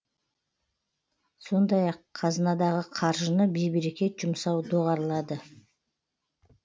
сондай ақ қазынадағы қаржыны бейберекет жұмсау доғарылады